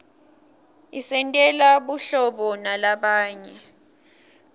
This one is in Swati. isentela buhlobo nalabanye